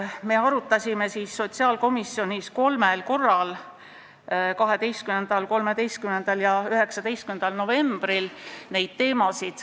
Me arutasime neid teemasid sotsiaalkomisjonis kolmel korral: 12., 13. ja 19. novembril.